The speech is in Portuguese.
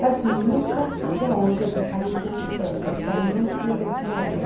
Sabe que nunca até hoje eu li Clarice Nispector para não escrever como ela.